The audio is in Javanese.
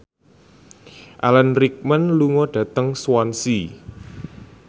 Alan Rickman lunga dhateng Swansea